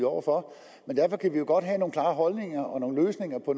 over for men derfor kan vi jo godt have nogle klare holdninger og nogle løsninger på